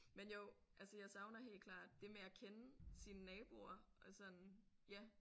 Men jo altså jeg savner helt klart det med at kende sine naboer og sådan ja